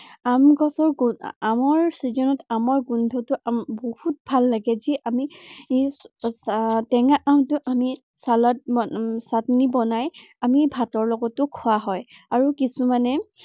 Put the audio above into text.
আম গছৰ আমৰ season ত আমৰ গোন্ধটো উম বহুত ভাল লাগে। যি আমি আহ আমৰ টেঙা আমটো আমি চালাদ উম চাটনি বনাই আমি ভাতৰ লগতো খোৱা হয়। আৰু কিছুমানে